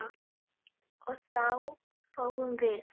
og þá fáum við